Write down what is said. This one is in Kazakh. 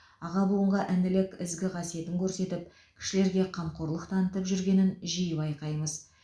аға буынға інілік ізгі қасиетін көрсетіп кішілерге қамқорлық танытып жүргенін жиі байқаймыз